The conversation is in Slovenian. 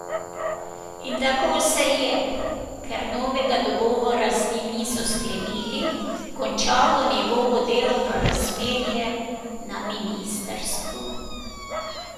In tako se je, ker novega dogovora z njim niso sklenili, končalo njegovo delovno razmerje na ministrstvu.